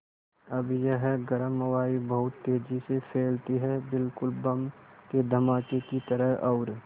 अब यह गर्म वायु बहुत तेज़ी से फैलती है बिल्कुल बम के धमाके की तरह और